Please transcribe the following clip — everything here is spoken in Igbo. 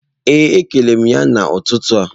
Ee e kelere m ya n'ụtụtụ a